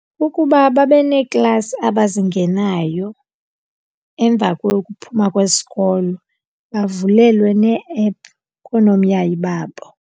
Ukuba babe neeklasi abazingenayo emva kokuphuma kwesikolo bavulelwe, nee-ephu koonomyayi babo.